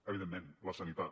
evidentment la sanitat